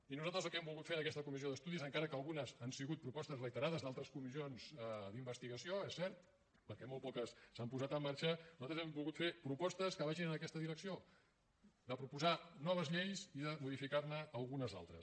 i nosaltres el que hem volgut fer en aquesta comissió d’estudis encara que algunes han sigut propostes reiterades d’altres comissions d’investigació és cert perquè molt poques s’han posat en marxa nosaltres hem volgut fer propostes que vagin en aquesta direcció de proposar noves lleis i de modificar ne algunes altres